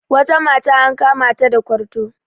wata mata an kamata da kwarto